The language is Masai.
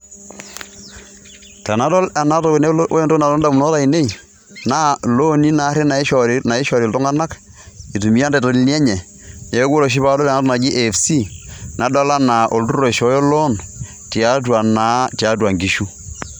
Tenadol enatoki nelotu ore entoki nalotu indamunot ainei, na ilooni naarri naishori iltung'anak, itumia intaitolini enye, neeku ore oshi padol enatoki naji AFC, nadol enaa olturrur oishooyo loan, tiatua naa tiatua nkishu.